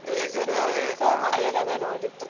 Recent ಆಗಿಸ ಮಾಲಿಯಾಳಂ ನೋಡಿದ್ದು.